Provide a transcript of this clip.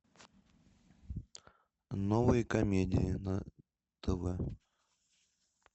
новые комедии на тв